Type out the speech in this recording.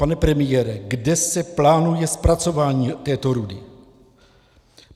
Pane premiére, kde se plánuje zpracování této rudy?